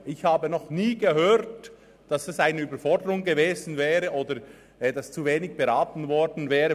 Ich habe noch nie gehört, dass es eine Überforderung gewesen oder etwas vonseiten der ERZ zu wenig beraten worden wäre.